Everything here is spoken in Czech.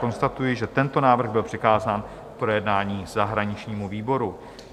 Konstatuji, že tento návrh byl přikázán k projednání zahraničnímu výboru.